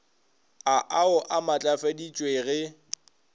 a au a matlafaditšwe ge